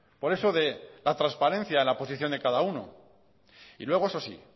por eso de a transparencia en la posición de cada uno y luego eso sí